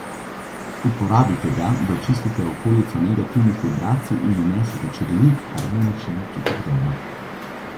Uporabite ga, da očistite okolico negativnih vibracij in vnesete čudovit, harmoničen občutek doma.